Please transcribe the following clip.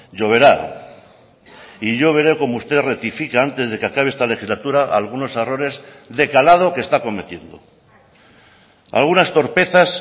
lloverá y yo veré como usted rectifica antes de que acabe esta legislatura algunos errores de calado que está cometiendo algunas torpezas